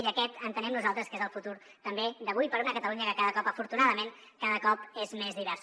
i aquest entenem nosaltres que és el futur també d’avui per a una catalunya que cada cop afortunadament és més diversa